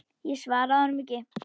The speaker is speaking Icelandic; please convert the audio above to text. Ég svaraði honum ekki.